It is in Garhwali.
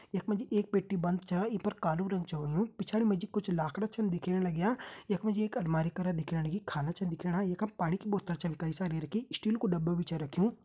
यखमा जी एक पेटी बंद छा ईं पर कालू रंग छा हुयूं पिछाड़ी मजी कुछ लाखड़ा छिन दिख्येण लाग्यां यखमा जी एक अलमारी करां दिख्याणी खाना छिन दिख्येणा येका पानी की बोतल छै कई सारी रखीं स्टील कु डब्बा भी छै रखयूं।